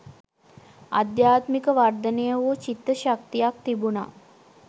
අධ්‍යාත්මික වර්ධනය වූ චිත්ත ශක්තියක් තිබුණා